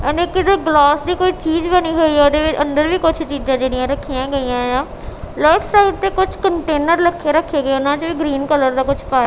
ਅਨੇਕ ਦੇ ਗਲਾਸ ਦੀ ਕੋਈ ਚੀਜ਼ ਬਣੀ ਹੋਈ ਉਹਦੇ ਵਿੱਚ ਅੰਦਰ ਵੀ ਕੁਝ ਚੀਜ਼ਾਂ ਜਿਹੜੀਆਂ ਰੱਖੀਆਂ ਗਈਆਂ ਆਂ ਰਾਈਟ ਸਾਈਡ ਤੇ ਕੁਝ ਕੰਟੇਨਰ ਰੱਖੇ ਗਏ ੳਹਨਾਚ ਗ੍ਰੀਨ ਕਲਰ ਦਾ ਕੁਝ ਪਾਇਆ।